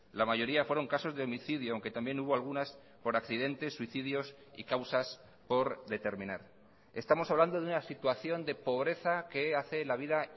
la mayoría fueron casos de homicidio aunque también hubo algunas por accidentes suicidios y causas por determinar estamos hablando de una situación de pobreza que hace la vida